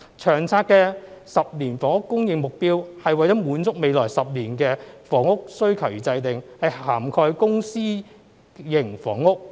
《長策》的10年房屋供應目標，是為了滿足未來10年房屋需求而制訂，是涵蓋公私營房屋。